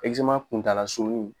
kuntaalasurun